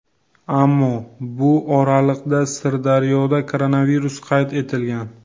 Ammo bu oraliqda Sirdaryoda koronavirus qayd etilgan.